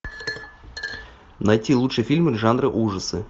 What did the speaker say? найти лучшие фильмы жанра ужасы